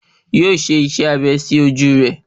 Yóò ṣe iṣẹ́ abẹ sí ojú rẹ̀